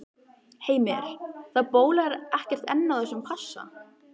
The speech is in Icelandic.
Heimir, það bólar ekkert enn á þessum passa?